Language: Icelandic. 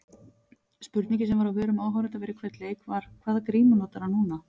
Spurningin sem var á vörum áhorfenda fyrir hvern leik var- hvaða grímu notar hann núna?